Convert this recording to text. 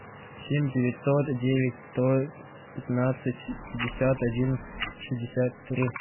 семь девятьсот девять сто пятнадцать пятьдесят один шестьдесят три